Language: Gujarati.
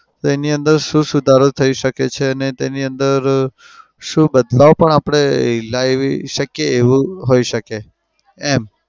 તો એની અંદર શું સુધારો થઇ શકે છે અને તેની અંદર શું બદલાવ પણ આપડે લાવી શકીએ એવું હોઈ શકે. એમ